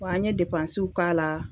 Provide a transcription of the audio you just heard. Wa an ye k'a la.